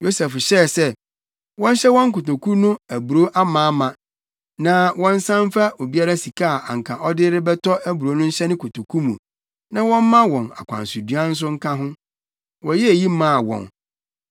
Yosef hyɛɛ sɛ, wɔnhyɛ wɔn nkotoku no aburow amaama, na wɔnsan mfa obiara sika a anka ɔde rebɛtɔ aburow no nhyɛ ne kotoku mu, na wɔmma wɔn akwansoduan nso nka ho. Wɔyɛɛ eyi maa wɔn.